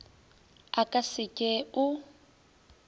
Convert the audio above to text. a ka se ke o